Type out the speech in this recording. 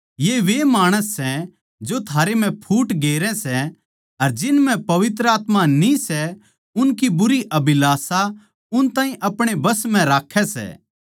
ये वे माणस सै जो थारे म्ह फूट गेरै सै अर जिन म्ह पवित्र आत्मा न्ही सै उनकी बुरी अभिलाषा उन ताहीं अपणे बस म्ह राक्खै सै